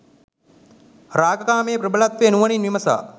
රාග කාමයේ ප්‍රබලත්වය නුවණින් විමසා